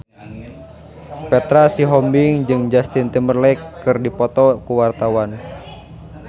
Petra Sihombing jeung Justin Timberlake keur dipoto ku wartawan